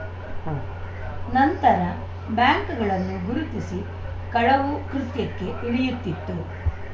ಉಂ ನಂತರ ಬ್ಯಾಂಕ್‌ಗಳನ್ನು ಗುರುತಿಸಿ ಕಳವು ಕೃತ್ಯಕ್ಕೆ ಇಳಿಯುತ್ತಿತ್ತು